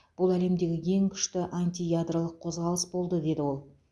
бұл әлемдегі ең күшті антиядролық қозғалыс болды деді ол